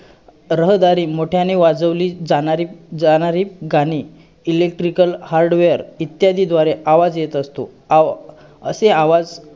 कोणत पण सांगा एक त्याच्याबद्दल